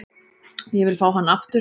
Ég vil fá hann aftur.